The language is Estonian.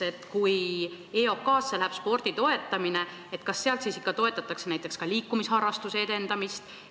Või kui EOK-sse läheb üle spordi toetamine, kas sealt siis ikka toetatakse näiteks ka liikumisharrastuse edendamist?